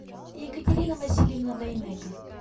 екатерина васильевна дайнеко